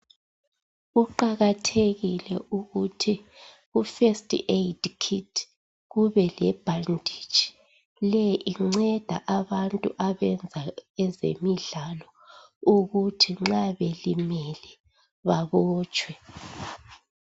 Kuqakathekile ukuthi ku first aid kit kube le bandage le inceda abantu abenza ezemidlalo ukuthi nxa belimele babotshwe.